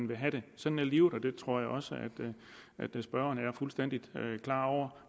vil have det sådan er livet og det tror jeg også at spørgeren er fuldstændig klar over